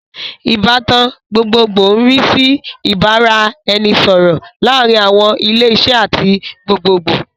Ìbátan gbogbogbòò ń rí sí ìbára ẹni sọ̀rọ̀ láàárín àwọn ilé iṣẹ́ àti gbogbogbòò